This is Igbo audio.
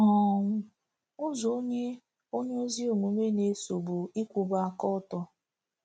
um Ụzọ Onye Onye Ezi Omume Na-eso Bụ Ịkwụba aka ọtọ ”